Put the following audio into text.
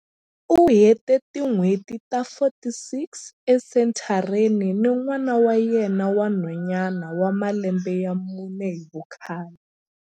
U hete tin'hweti ta 46 esenthareni ni n'wana wa yena wa nhwanyana wa malembe ya mune hi vukhale.